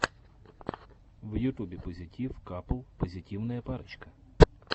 в ютубе позитив капл позитивная парочка